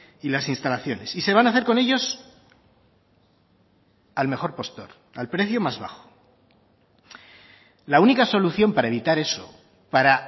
y las instalaciones y se van a hacer con ellos al mejor postor al precio más bajo la única solución para evitar eso para